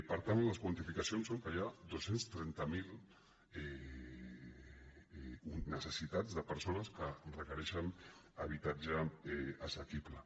per tant les quantificacions són que hi ha dos cents i trenta miler necessitats de persones que requereixen ha·bitatge assequible